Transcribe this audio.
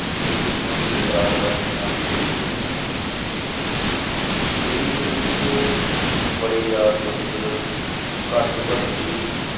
ਕੀ ਉਹਨਾਂ ਨੇ ਕਿਰਦਾਰ ਅਦਾ ਕੀਤਾ ਮੇਰੀ ਜ਼ਿੰਦਗੀ ਚ ਮੇਰੀ ਜ਼ਿੰਦਗੀ ਚ ਬੜੇ ਯਾਰ ਦੋਸਤ ਘੱਟ ਤੋਂ ਘੱਟ ਵੀ